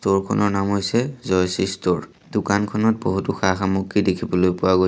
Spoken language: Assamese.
টৰ খনৰ নাম হৈছে জয়শ্ৰী ষ্ট'ৰ দোকানখনত বহুতো সা সামগ্ৰী দেখিবলৈ পোৱা গৈ--